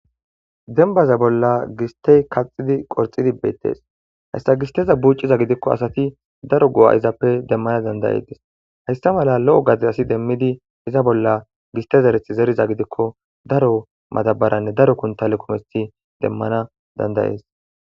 Denbaza bolla gistey kaxidi qorxidi beettees hessa gisteza buucciza gidikko asati daro gu'a izappe demmana dandayetes hayssa mala lo'o gade asi demmidi iza bolla giste zereth zeriza gidikko daro matabaranne daro kuntale kometi demmana dandayees.